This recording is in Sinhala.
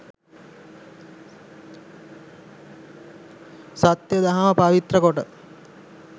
සත්‍ය දහම පවිත්‍ර කොට